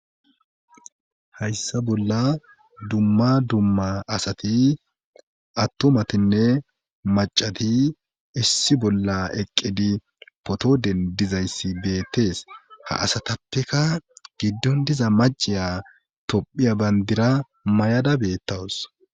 Hayssa bolla dumma dumma asati attomatinne macati issi bolla eqqidi potoden dizayssi beettees ha asatappeka giddon diza maciya tophiya bandira mayada beettawus